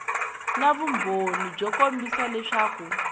na vumbhoni byo kombisa leswaku